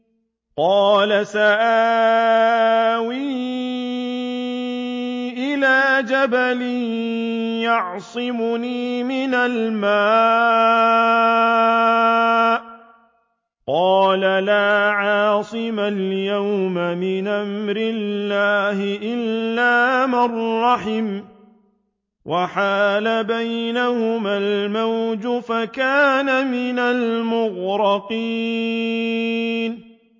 قَالَ سَآوِي إِلَىٰ جَبَلٍ يَعْصِمُنِي مِنَ الْمَاءِ ۚ قَالَ لَا عَاصِمَ الْيَوْمَ مِنْ أَمْرِ اللَّهِ إِلَّا مَن رَّحِمَ ۚ وَحَالَ بَيْنَهُمَا الْمَوْجُ فَكَانَ مِنَ الْمُغْرَقِينَ